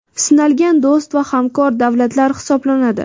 sinalgan do‘st va hamkor davlatlar hisoblanadi.